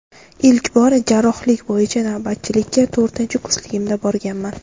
Ilk bor jarrohlik bo‘yicha navbatchilikka to‘rtinchi kursligimda borganman.